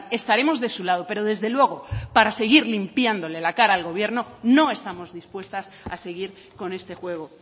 estaremos de su lado pero desde luego para seguir limpiándole la cara al gobierno no estamos dispuestas a seguir con este juego